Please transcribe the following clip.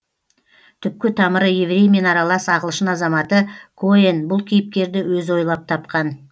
түпкі тамыры евреймен аралас ағылшын азаматы коэн бұл кейіпкерді өзі ойлап тапқан